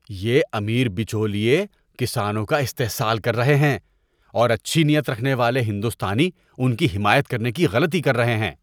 یہ امیر بچولیے کسانوں کا استحصال کر رہے ہیں اور اچھی نیت رکھنے والے ہندوستانی ان کی حمایت کرنے کی غلطی کر رہے ہیں۔